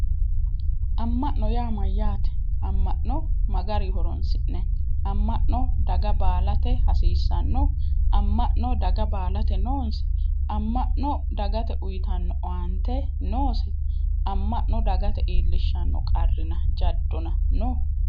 Amma'no yaa mayyaate? Amma'no ma garinni horoonsi'nayi, Amma'no daga baalate hasiissanno? Amma'no daga baalate noonsa, Amma'no dagate uuyiitanno owaante noose? Amma'no dagate iillishshanno qarrina jaddona no?